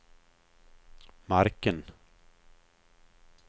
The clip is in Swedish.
marken